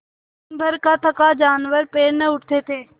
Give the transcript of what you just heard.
दिनभर का थका जानवर पैर न उठते थे